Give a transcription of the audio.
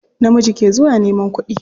Namiji ke zuwa neman kuɗi.